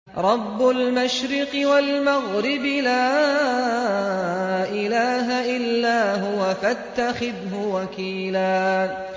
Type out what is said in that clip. رَّبُّ الْمَشْرِقِ وَالْمَغْرِبِ لَا إِلَٰهَ إِلَّا هُوَ فَاتَّخِذْهُ وَكِيلًا